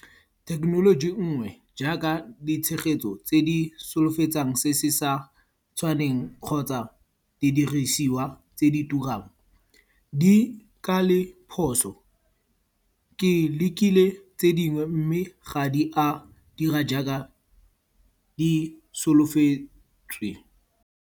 Thekenoloji nngwe jaaka ditshegetso tse di solofetsang se se sa tshwaneng kgotsa di dirisiwa tse di turang. Di ka le phoso. Ke lekile tse dingwe mme ga di a dira jaaka di solofetswe.